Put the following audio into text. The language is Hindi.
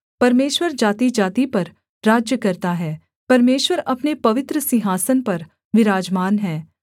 परमेश्वर जातिजाति पर राज्य करता है परमेश्वर अपने पवित्र सिंहासन पर विराजमान है